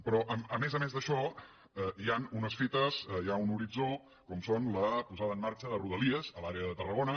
però a més a més d’això hi han unes fites hi ha un horitzó com són la posada en marxa de rodalies a l’àrea de tarragona